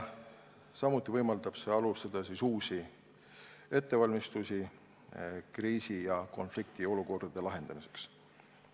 Samuti võimaldab see alustada uusi ettevalmistusi kriisi- ja konfliktiolukordade lahendamiseks.